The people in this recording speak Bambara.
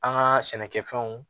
An ka sɛnɛkɛfɛnw